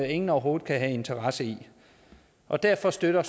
ingen overhovedet kan have en interesse i og derfor støtter